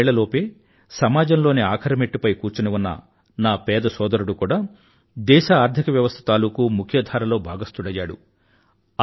మూడేళ్ళ లోపే సమాజంలోని ఆఖరి మెట్టుపై కూచుని ఉన్న నా పేద సోదరుడు కూడా దేశ ఆర్థిక వ్యవస్థ తాలూకూ ముఖ్య ధార లో భాగస్థుడయ్యాడు